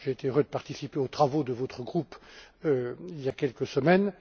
J'ai été heureux de participer aux travaux de votre groupe, il y a quelques semaines.